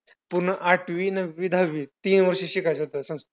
पूर्ण आठवी नववी दहावी तीन वर्ष शिकायचं होतं संस्कृत.